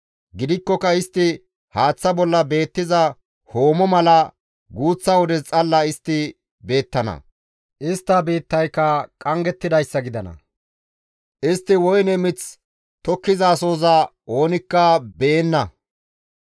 «Gidikkoka istti haaththa bolla beettiza hoomo mala guuththa wodes xalla istti beettana. Istta biittayka qanggettidayssa gidana; istti woyne miththa tokkizasohoza oonikka beenna.